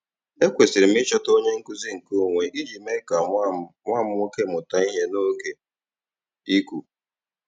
Ekwesịrị m ịchọta onye nkuzi nkeonwe iji mee ka nwa m nwa m nwoke mụta ihe n'oge iku.